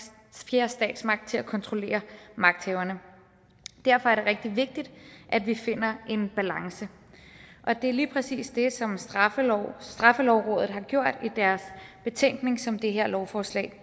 fjerde statsmagt til at kontrollere magthaverne derfor er det rigtig vigtigt at vi finder en balance og det er lige præcis det som straffelovrådet straffelovrådet har gjort i deres betænkning som det her lovforslag